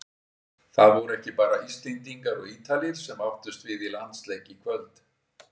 Það voru ekki bara Íslendingar og Ítalir sem áttust við í landsleik í kvöld.